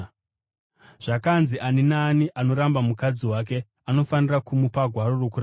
“Zvakanzi, ‘Ani naani anoramba mukadzi wake anofanira kumupa gwaro rokurambana.’